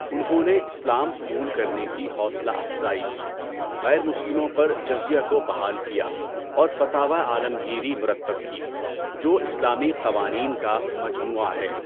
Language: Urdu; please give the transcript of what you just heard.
انہوں نے اسلام قبول کرنے کی حوصلہ افزائی کی، غیر مسلموں پر جزیہ کو بحال کیا، اور فتاویٰ عالمگیری مرتب کی، جو اسلامی قوانین کا مجموعہ ہے۔